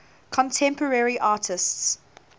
contemporary artists